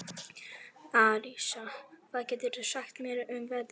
Arisa, hvað geturðu sagt mér um veðrið?